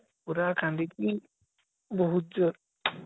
ପୁରା କାନ୍ଦିକି ବହୁତ ଜୋର ରେ